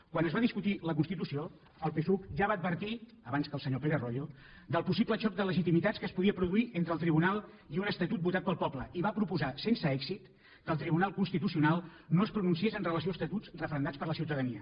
quan es va discutir la constitució el psuc ja va advertir abans que el senyor pérez royo del possible xoc de legitimitats que es podia produir entre el tribunal i un estatut votat pel poble i va proposar sense èxit que el tribunal constitucional no es pronunciés amb relació a estatuts referendats per la ciutadania